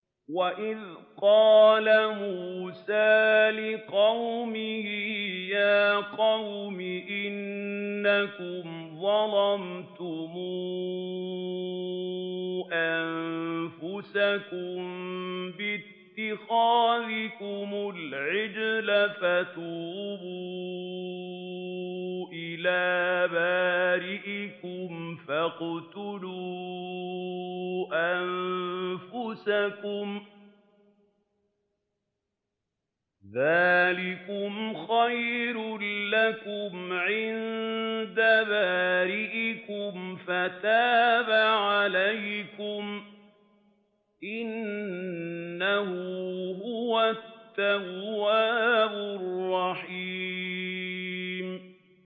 وَإِذْ قَالَ مُوسَىٰ لِقَوْمِهِ يَا قَوْمِ إِنَّكُمْ ظَلَمْتُمْ أَنفُسَكُم بِاتِّخَاذِكُمُ الْعِجْلَ فَتُوبُوا إِلَىٰ بَارِئِكُمْ فَاقْتُلُوا أَنفُسَكُمْ ذَٰلِكُمْ خَيْرٌ لَّكُمْ عِندَ بَارِئِكُمْ فَتَابَ عَلَيْكُمْ ۚ إِنَّهُ هُوَ التَّوَّابُ الرَّحِيمُ